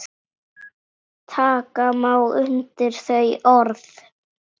Taka má undir þau orð.